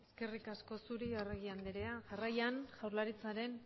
eskerrik asko zuri arregi andrea jarraian jaurlaritzaren